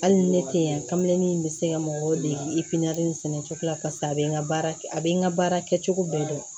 Hali ni ne tɛ yan kame bɛ se ka mɔgɔw dege sɛnɛcogo la paseke a bɛ n ka baara a bɛ n ka baara kɛ cogo bɛɛ dɔn